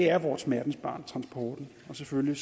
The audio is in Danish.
er vores smertensbarn og selvfølgelig